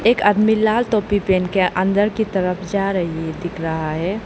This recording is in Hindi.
एक आदमी लाल टोपी पहन के अंदर की तरफ जा रही है दिख रहा है।